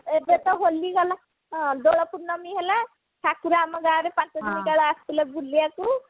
ଏବେ ତ ହୋଲି ଗଲା ଏବେ ତ ପୂର୍ଣମି ହେଲା ଠାକୁର ଆମ ଗାଁ ରେ ପାଞ୍ଚ ଦିନ କାଳ ଆସିଥିଲେ ବୁଲିବାକୁ